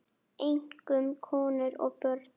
Einkum konur og börn.